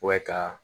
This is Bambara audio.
ka